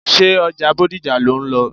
Ṣé ọjà Bódìjà lò ń lọ?